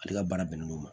Ale ka baara bɛnnen don ma